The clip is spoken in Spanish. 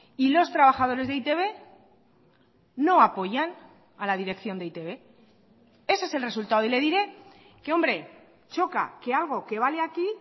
y los trabajadores de e i te be no apoyan a la dirección de e i te be ese es el resultado y le diré que hombre choca que algo que vale aquí